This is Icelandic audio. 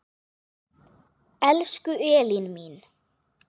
Elsku Elín mín.